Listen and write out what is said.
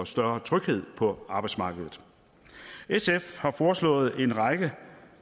større tryghed på arbejdsmarkedet sf har foreslået en række